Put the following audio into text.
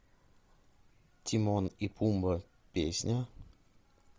тимон и пумба песня